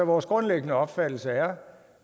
vores grundlæggende opfattelse er